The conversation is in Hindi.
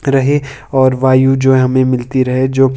रहे और वायु जो हमें मिलती रहे जो--